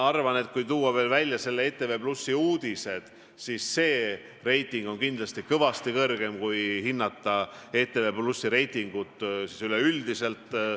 Kui tuua veel eraldi välja ETV+ uudised, siis see reiting on kindlasti kõvasti kõrgem kui ETV+ reiting üleüldiselt.